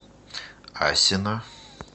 асино